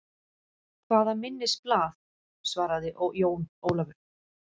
Hvaða minnisblað, svaraði Jón Ólafur.